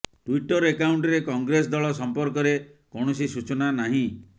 Twitter ଆକାଉଣ୍ଟରେ କଂଗ୍ରେସ ଦଳ ସଂପର୍କରେ କୌଣସି ସୂଚନା ନାହିଁ